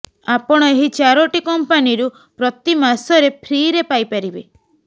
ଆପଣ ଏହି ଚାରୋଟି କମ୍ପାନୀରୁ ପ୍ରତି ମାସରେ ଫ୍ରିରେ ପାଇପାରିବେ